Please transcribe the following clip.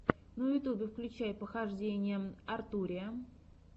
на ютьюбе включай похождения артурия